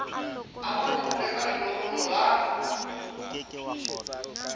a lomolwe ka lelomolo la